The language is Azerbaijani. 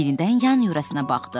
Yenidən yan yörəsinə baxdı.